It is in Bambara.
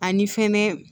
Ani fɛnɛ